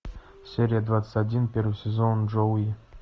серия двадцать один первый сезон джоуи